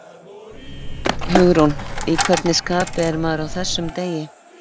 Hugrún: Í hvernig skapi er maður á þessum degi?